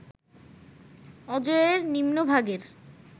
অজয়ের নিম্নভাগের